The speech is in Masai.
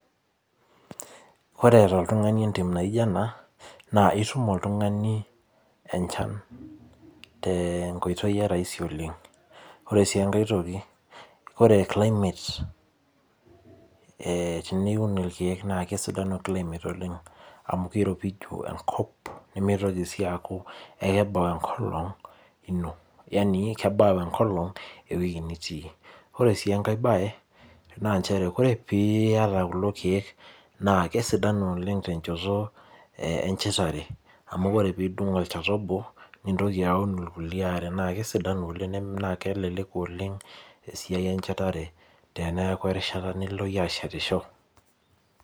Ore toltung'ani entim naijo ena, naa itum oltung'ani enchan, tenkoitoi e rahisi oleng. Ore si enkae toki, ore climate teniun irkeek naa kesidanu climate oleng amu kiropiju enkop, nimitoki si aku ekibau enkolong ino, yani kebau enkolong ewoi nitii. Ore si enkae bae, naa njere ore piata kulo keek, naa kesidanu oleng tenchoto enchetare, amu ore pidung olchata obo, nintoki aun irkulie are. Na kesidanu oleng na keleleku oleng, esiai enchetare teneeku erishata nilo yie ashetisho.